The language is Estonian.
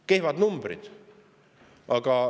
Kehvad numbrid!